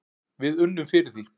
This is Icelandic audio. Við unnum fyrir því.